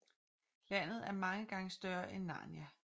Landet er mange gange større end Narnia